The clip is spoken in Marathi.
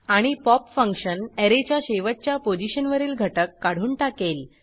आणि पॉप फंक्शन ऍरेच्या शेवटच्या पोझिशनवरील घटक काढून टाकेल